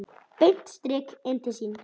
Beint strik inn til sín.